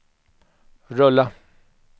rulla